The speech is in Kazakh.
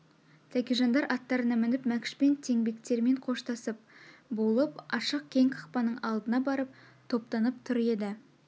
тәкежандар аттарына мініп мәкшпен тінбектермен қоштасып болып ашық кең қақпаның алдына барып топтанып тұр еді